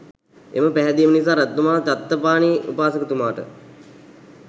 එම පැහැදීම නිසා රජතුමා චත්තපාණී උපාසකතුමාට